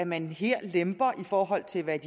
man her lemper i forhold til hvad